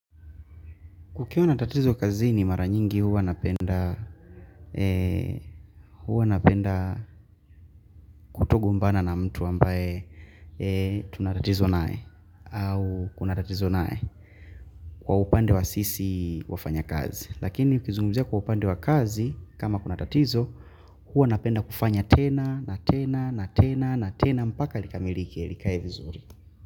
Kukiwa na tatizo kazini, mara nyingi huwa napenda huwa napenda kutogombana na mtu ambaye tuna tatizo naye au kuna tatizo naye. Kwa upande wa sisi wafanya kazi. Lakini ukizungumzia kwa upande wa kazi kama kuna tatizo huwa napenda kufanya tena na tena na tena na tena mpaka likamilike likae vizuri.